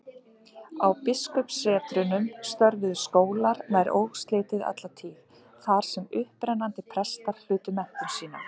Á biskupssetrunum störfuðu skólar nær óslitið alla tíð, þar sem upprennandi prestar hlutu menntun sína.